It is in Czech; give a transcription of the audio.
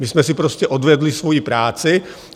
My jsme si prostě odvedli svoji práci.